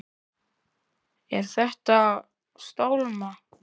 Er að stálma.